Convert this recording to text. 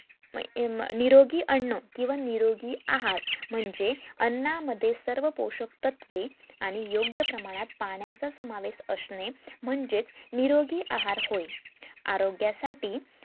अह निरोगी अन्न किंवा निरोगी आहार म्हणजे अन्ना मध्ये सर्व पोषक तत्वे आणि योग्य प्रमाणात पाण्याचा समावेश असणे म्हणजेच निरोगी आहार होय आरोग्या साठी